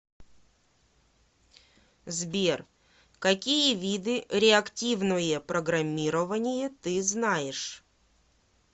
сбер какие виды реактивное программирование ты знаешь